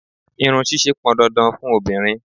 Irun ṣíṣe pọn dandan fun obìnrin.